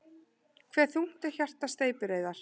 Hve þungt er hjarta steypireyðar?